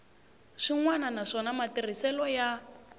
swin wana naswona matirhiselo ya